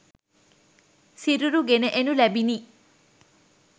සිරුරු ගෙන එනු ලැබිණි